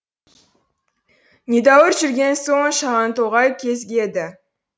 недәуір жүрген соң шағантоғай кезігеді